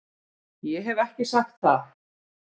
Ég hef ekki sagt það!